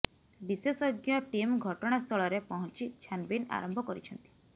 ବିଶେଷଜ୍ଞ ଟିମ୍ ଘଟଣା ସ୍ଥଳରେ ପହଞ୍ଚି ଛାନଭିନ୍ ଆରମ୍ଭ କରିଛନ୍ତି